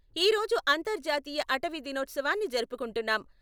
ఈ రోజు అంతర్జాతీయ అటవీ దినోత్సవాన్ని జరుపుకుంటున్నాం.